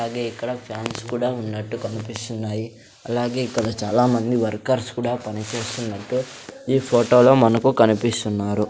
అలాగే ఇక్కడ ఫ్యాన్స్ కూడా ఉన్నట్టు కన్పిస్తున్నాయి అలాగే ఇక్కడ చాలామంది వర్కర్స్ కూడా పని చేస్తున్నట్టు ఈ ఫోటోలో మనకు కనిపిస్తున్నారు.